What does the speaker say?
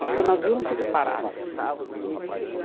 Porque o navio não fica parado.